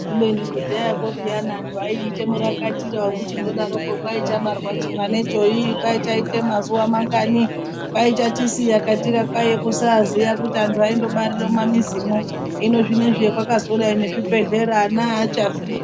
Kubeni kudhayako peyani antu aiite murakatire vekuchindodaroko kwai chabarwa chimwanecho ii kwai chaiite mazuva mangani. Kwai chatisiya katika kwaiya kusaiziya kuti antu aindobarire mumamizimwo. Hino zvinoizvi zvakwakazodai nechibhedhleya ana hachafi.